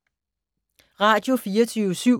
Radio24syv